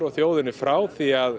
þjóðinni frá því að